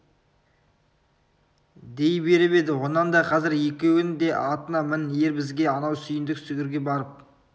дей беріп еді онан да қазір екеуің де атыңа мін ер бізге анау сүйіндік сүгірге барып